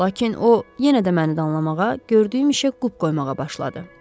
Lakin o yenə də məni danlamağa, gördüyüm işə qüsur qoymağa başladı.